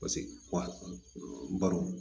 Paseke wa don